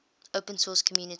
open source community